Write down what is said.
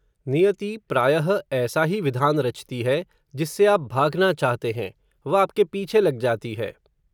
नियति प्रायः, ऐसा ही विधान रचती है, जिससे आप भागना चाहते हैं, वह आपके पीछे लग जाती है